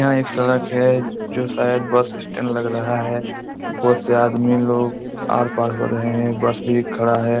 यहाँ एक सड़क है जो शायद बस स्टेंड लग रहा है। ऊपर से आदमी लोग आर-पार हो रहे है बस भी खड़ा है।